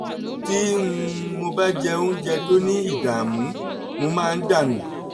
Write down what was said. tí um mo bá jẹ oúnjẹ tó ní ìdààmú mo máa ń dà nù